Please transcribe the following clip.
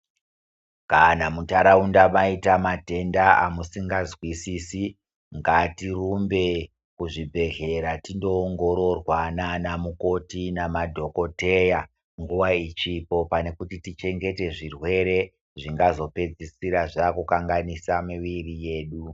Kana mundaraunda mwaita matenda emusingazwisisi ngatirumbe kuzvibhedhlera tinoongororwa naana mukoti namadhokoteya nguwa ichipo pane kuti tichengete zvirwere zvingazopedzisira zvaakukanganisa miviri yedu .